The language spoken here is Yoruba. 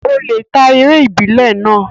Ó lè ta eré ìbílẹ̀ náà.